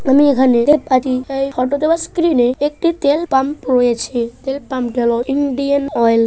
আমি এখানে দেখতে পাচ্ছি এই ফটোতে বা স্ক্রিনে একটি তেল পাম রয়েছে । তেল পাম কেন ইন্ডিয়ান ওয়্যাল --